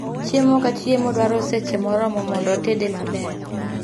Chiemo ka chiemo dwaro seche moromo mondo otede maber